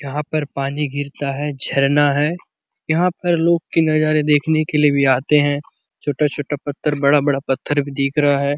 यहाँ पर पानी गिरता है झरना हैं यहाँ पर लोग के नजारे देखने के लिए भी आते है छोटा-छोटा पत्थर बड़ा-बड़ा पत्थर दिख रहा है।